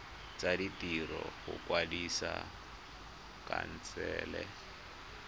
tsa ditiro go kwadisa khansele